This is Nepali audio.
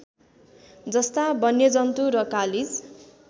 जस्ता वन्यजन्तु र कालिज